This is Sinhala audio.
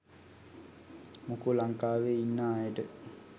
මොකෝ ලංකාවේ ඉන්නා අයට